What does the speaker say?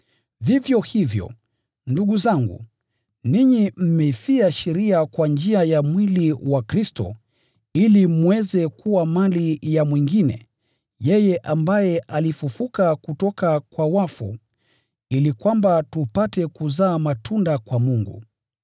Vivyo hivyo, ndugu zangu, ninyi mmeifia sheria kwa njia ya mwili wa Kristo, ili mweze kuwa mali ya mwingine, yeye ambaye alifufuliwa kutoka kwa wafu, ili tupate kuzaa matunda kwa Mungu.